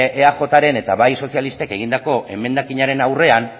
eajk eta bai sozialistek egindako emendakinaren aurrean